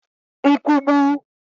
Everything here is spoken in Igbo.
nkwugbu